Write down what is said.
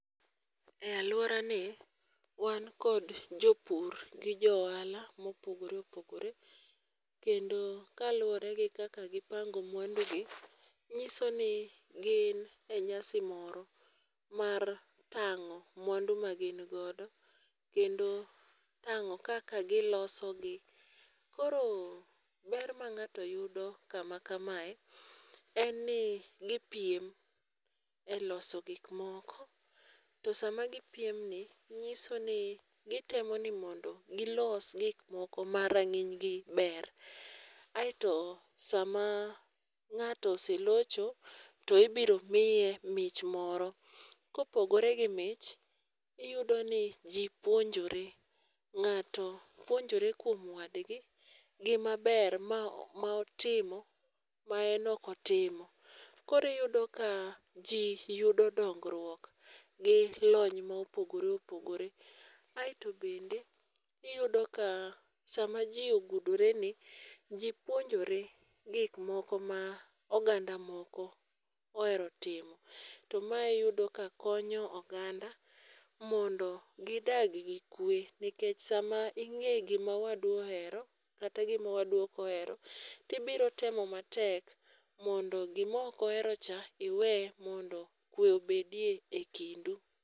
E aluora ni wan kod jopur gi jo ohala ma opogore opogore kendo kaluore gi kakak gi pango mwandu gi ng'iso ni gin e nyasi mar tango mwandu ma gin godo kendo i tango kaak gi loso gio. Ko rober ma ngato yudo kama kame en ni gi piem e loso gik moko to saa ma gi piem ni ng'iso ni gi temo ni kod gi los gik moko ma ranginy gi ber. Aito saa ma ng'ato selocho to ibiro miye mich moro ka opogore gi mich iyudo ni ji ji puonjore ng'ato puonjre kuom wadgi gi ma ber ma otimo ma en ok otimo. Koro iyudo ka ji yudo dongruok gi lony ma opogore opogore. Aito bende iyudo ka saa ma ji ogudore ji puonjre gik ma oganda moko ohero timo. To mae iyudo ka konyo oganda mondo gi dag gi kwe nikech saa ma ing'e gi ma wadu ohero kata gi ma wadu ok ohero ti ibiro temo ma tek mondo gi ma ok ohero cha iwe mondo kwe obed e kindu.